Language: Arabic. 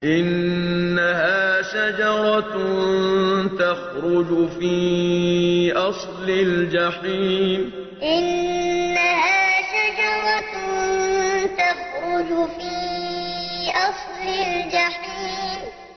إِنَّهَا شَجَرَةٌ تَخْرُجُ فِي أَصْلِ الْجَحِيمِ إِنَّهَا شَجَرَةٌ تَخْرُجُ فِي أَصْلِ الْجَحِيمِ